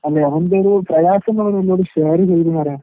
അല്ല അവന്റൊരു പ്രയാസങ്ങളോനെന്നോട് ഷേറ് ചെയ്തൂന്ന് പറയാ.